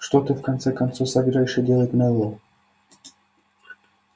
что ты в конце концов собираешься делать мэллоу